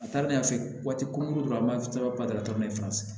A taar'ale fɛ yen waati ko dɔrɔn bada